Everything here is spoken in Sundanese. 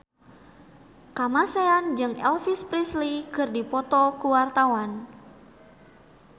Kamasean jeung Elvis Presley keur dipoto ku wartawan